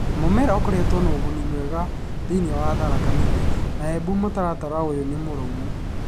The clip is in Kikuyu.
Mu͂mera ukoretwo u͂ri͂ na u͂guni mwega thi͂ini͂ wa Tharaka Nithi, na Embu mu͂taratara u͂yu͂ ni͂ mu͂ru͂mu.